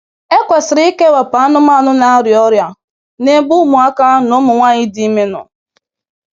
E kwesịrị ikewapụ anụmanụ na-arịa ọrịa na-ebe ụmụaka na ụmụ nwanyị dị ime nọ.